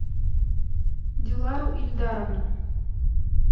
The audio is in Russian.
дилару ильдаровну